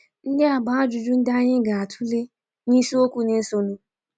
Ndị a bụ ajụjụ ndị anyị anyị ga-atụle n’isiokwu na-esonụ.